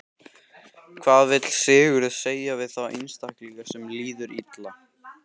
Hvað vill Sigurður segja við þá einstaklinga sem líður illa?